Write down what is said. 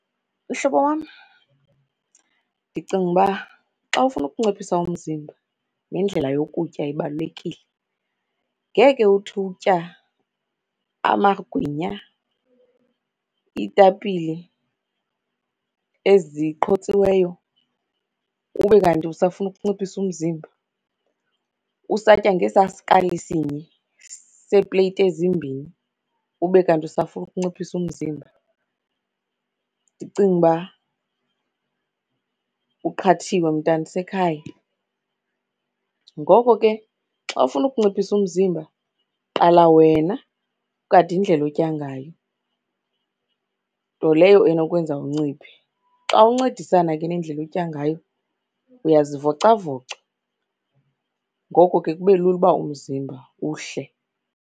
Mhlobo wam, ndicinga uba xa ufuna ukunciphisa umzimba, nendlela yokutya ibalulekile. Ngeke uthi utya amagwinya, iitapile eziqhotsiweyo, ube kanti usafuna ukunciphisa umzimba. Usatya ngesaa sikali sinye sepleyiti ezimbini ube kanti usafuna ukunciphisa umzimba. Ndicinga uba uqhathiwe mntanasekhaya. Ngoko ke xa ufuna ukunciphisa umzimba qala wena ugade indlela otya ngayo, nto leyo enokwenza unciphe. Xa uncedisana ke nendlela otya ngayo, uyazivicavoca, ngoko ke kube lula uba umzimba uhle.